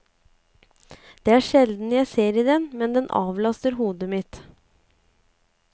Det er sjelden jeg ser i den, men den avlaster hodet mitt.